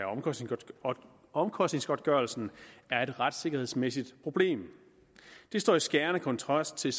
omkostningsgodtgørelsen er et retssikkerhedsmæssigt problem det står i skærende kontrast til